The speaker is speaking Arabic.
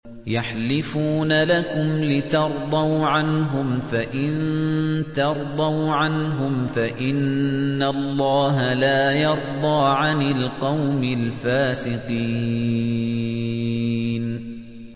يَحْلِفُونَ لَكُمْ لِتَرْضَوْا عَنْهُمْ ۖ فَإِن تَرْضَوْا عَنْهُمْ فَإِنَّ اللَّهَ لَا يَرْضَىٰ عَنِ الْقَوْمِ الْفَاسِقِينَ